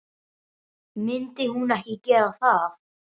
Myndi hún ekki gera það?